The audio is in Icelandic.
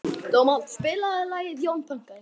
Dómald, spilaðu lagið „Jón Pönkari“.